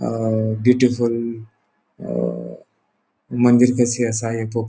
अ beautiful अ मंदिर कसी आसा --